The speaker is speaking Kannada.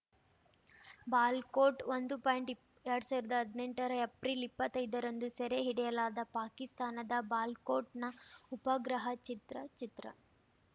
ಬಾಲ್ ಕೋಟ್‌ ಒಂದು ಪಾಯಿಂಟ್ಇಪ್ ಎರಡ್ ಸಾವಿರ್ದಾ ಹದ್ನೆಂಟರ ಏಪ್ರಿಲ್‌ ಇಪ್ಪತ್ತೈದರಂದು ಸೆರೆ ಹಿಡಿಯಲಾದ ಪಾಕಿಸ್ತಾನದ ಬಾಲ್ ಕೋಟ್‌ನ ಉಪಗ್ರಹ ಚಿತ್ರ ಚಿತ್ರ